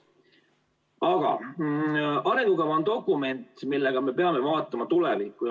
Aga arengukava on dokument, millega me peame vaatama tulevikku.